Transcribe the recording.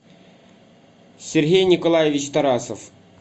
сергей николаевич тарасов